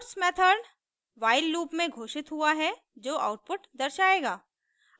puts method while loop में घोषित हुआ है जो आउटपुट दर्शायेगा